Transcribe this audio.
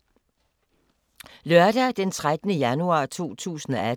Lørdag d. 13. januar 2018